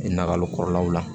Nakalo kɔrɔlaw la